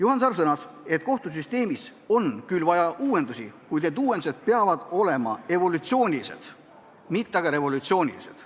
Samas ta sõnas, et kohtusüsteemis on küll vaja uuendusi, kuid need uuendused peavad olema evolutsioonilised, mitte revolutsioonilised.